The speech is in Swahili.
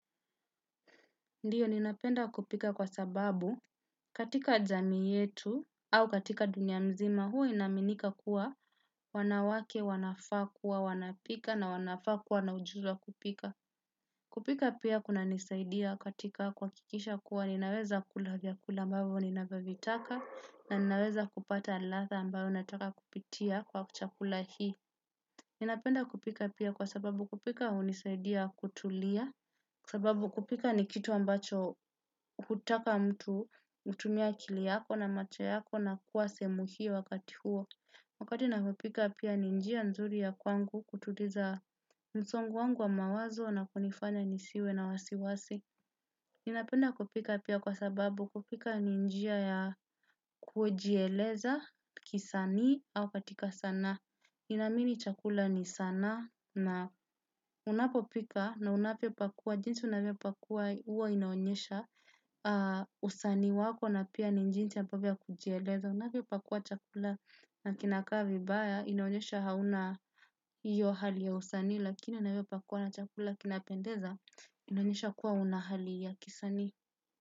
Ndiyo, ninapenda kupika kwa sababu katika jamii yetu au katika dunia mzima huwa inaaminika kuwa wanawake, wanafaa kuwa, wanapika na wanafaa kuwa na ujuzi wa kupika. Kupika pia kunanisaidia katika kuhakikisha kuwa ninaweza kula vyakula ambayo ninavyovitaka na ninaweza kupata ladha ambayo nataka kupitia kwa chakula hii. Ninapenda kupika pia kwa sababu kupika hunisaidia kutulia, sababu kupika ni kitu ambacho hutaka mtu, utumie akili yako na macho yako na kuwa sehemu hiyo wakati huo. Wakati navopika pia ni njia nzuri ya kwangu kutuliza msongo wangu wa mawazo na kunifanya nisiwe na wasiwasi. Ninapenda kupika pia kwa sababu kupika ni njia ya kujieleza, kisanii, au katika sanaa. Ninaamini chakula ni sanaa na unapopika na unapopika na unavyopakua jinsi unavyopakua huwa inaonyesha usanii wako na pia ni jinsi ambavyo ya kujieleza. Unavyopakua chakula na kinakaa vibaya inaonyesha hauna iyo hali ya usanii lakini unavyopakua na chakula kinapendeza inaonyesha kuwa una hali ya kisanii.